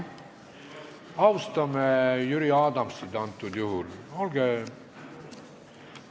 Austame Jüri Adamsit!